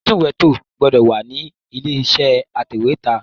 Atúnwèétò gbọ́dọ̀ wà nílé iṣẹ́ atẹ̀wẹ́tà